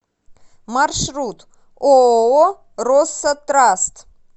маршрут ооо россо траст